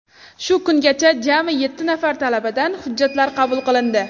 Shu kungacha jami yetti nafar talabadan hujjatlar qabul qilindi.